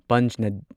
ꯄꯟꯆꯅꯗ